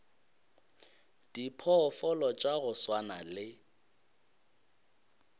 diphoofolo tša go swana le